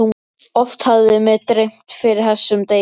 Oft hafði mig dreymt fyrir þessum degi.